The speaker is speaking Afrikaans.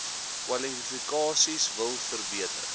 kwalifikasies wil verbeter